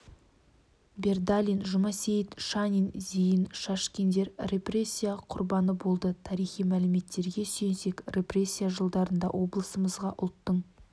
бердалин жұмасейіт шанин зейін шашкиндер репрессия құрбаны болды тарихи мәліметтерге сүйенсек репрессия жылдарында облысымызға ұлттың